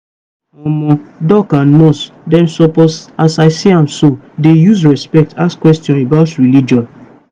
omo doc with nurse dem suppose as i see am so dey use respect ask question about religion.